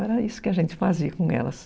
Era isso que a gente fazia com elas.